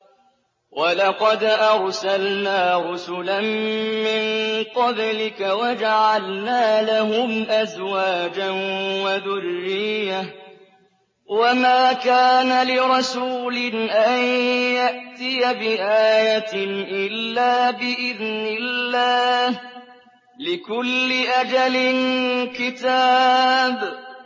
وَلَقَدْ أَرْسَلْنَا رُسُلًا مِّن قَبْلِكَ وَجَعَلْنَا لَهُمْ أَزْوَاجًا وَذُرِّيَّةً ۚ وَمَا كَانَ لِرَسُولٍ أَن يَأْتِيَ بِآيَةٍ إِلَّا بِإِذْنِ اللَّهِ ۗ لِكُلِّ أَجَلٍ كِتَابٌ